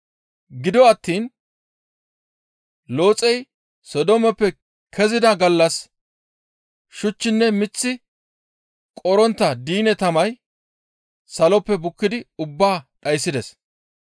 Gido attiin Looxey Sodoomeppe kezida gallas shuchchinne mith qorontta diine tamay saloppe bukkidi ubbaa dhayssides.